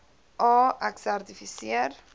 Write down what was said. a ek sertifiseer